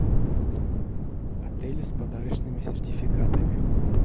отели с подарочными сертификатами